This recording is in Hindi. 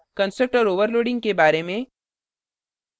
constructor overloading के बारे में